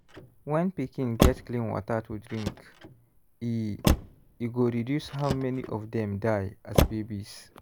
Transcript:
when pikin get clean water to drink e e go reduce how many of dem die as babies.